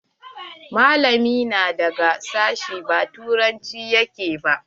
Malamin nan daga sashi ba turanci yake?